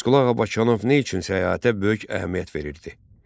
Abbasqulu Ağa Bakıxanov nə üçün səyahətə böyük əhəmiyyət verirdi?